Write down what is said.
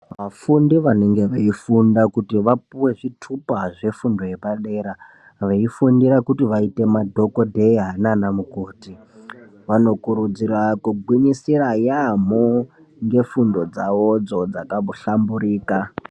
Vafundi vanenge veifunda kuti vapuwe zvithupa zvefundo yepadera, veifundira kuti vaite madhokodheya naanamukoti, vanokurudzirwa kugwinyisira yaamho nefundo dzavodzo dzakahlamburika.